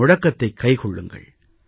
இந்த முழக்கத்தைக் கைக்கொள்ளுங்கள்